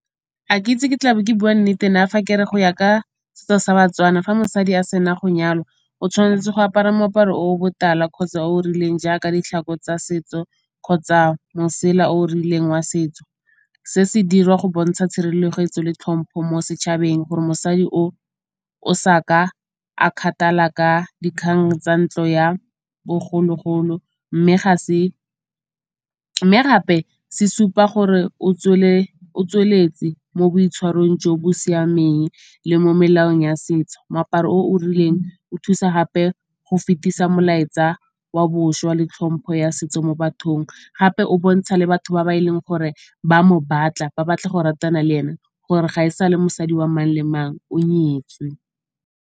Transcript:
Ga ke itse ke tlabe ke bua nnete na fa ke re go ya ka setso sa Batswana fa mosadi a se na go nyalwa o tshwanetse go apara moaparo o botala kgotsa o rileng jaaka ditlhako tsa setso kgotsa mosela o rileng wa setso. Se se dirwa go bontsha tshireletso le tlhompho mo setšhabeng gore mosadi o o sa ka a kgathala ka dikgang tsa ntlo ya bogologolo mme gape se supa gore o tsweletse mo boitshwarong jo bo siameng le mo melaong ya setso. Moaparo o o rileng o thusa gape go fetisa molaetsa wa bošwa le tlhompho ya setso mo bathong. Gape o bontsha le batho ba e leng gore ba mo batla, ba batla go ratana le ene gore ga e sa le mosadi wa mang le mang o nyetswe.